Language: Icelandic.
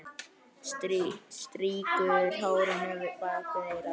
Strýkur hárinu bak við eyrað.